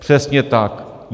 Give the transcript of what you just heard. Přesně tak.